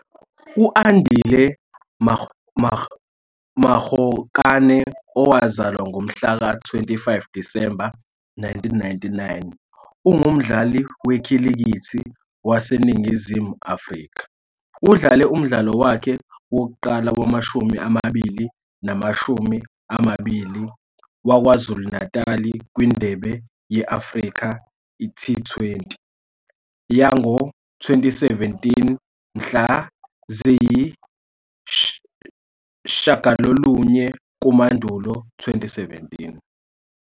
U-Andile Mokgakane, owazalwa ngomhlaka 25 Disemba 1999, ungumdlali wekhilikithi waseNingizimu Afrika. Udlale umdlalo wakhe wokuqala wamashumi amabili namashumi amabili waKwaZulu-Natal kwiNdebe ye-Africa T20 yango -2017 mhla ziyi-8 kuMandulo 2017.